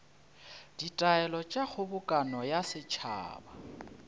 ditaelo tša kgobokano ya setšhaba